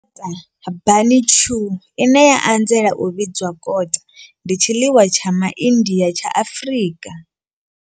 Kota bunny chow, ine ya anzela u vhidzwa kota, ndi tshiḽiwa tsha MaIndia tsha Afrika.